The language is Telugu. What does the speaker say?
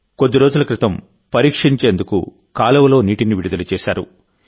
కొద్దిరోజుల క్రితం పరీక్షించేందుకు కాలువలో నీటిని విడుదల చేశారు